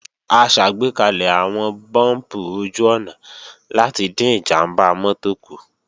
A ṣàgbékalẹ̀ àwọn búùmpù ojú-ọ̀nà láti dín ìjàmbá mọ́tò kù